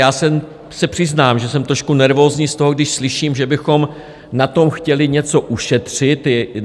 Já se přiznám, že jsem trošku nervózní z toho, když slyším, že bychom na tom chtěli něco ušetřit.